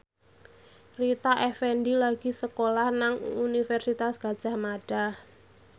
Rita Effendy lagi sekolah nang Universitas Gadjah Mada